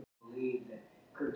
Á Merkúríusi er ekkert vatn.